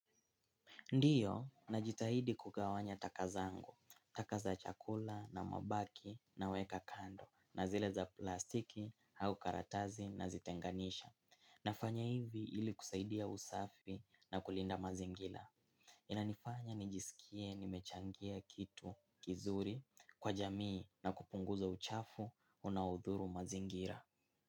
Ndio najitahidi kugawanya taka zangu, taka za chakula na mabaki naweka kando na zile za plastiki au karatasi nazitenganisha. Nafanya hivi ili kusaidia usafi na kulinda mazingira. Inanifanya nijisikie nimechangia kitu kizuri kwa jamii na kupunguza uchafu unaodhuru mazingira.